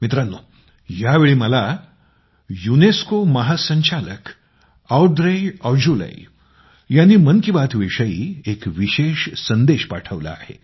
मित्रांनो यावेळी मला युनेस्को चे महासंचालक औद्रे ऑजुले यांनी मन की बात विषयी एक विशेष संदेश पाठवला आहे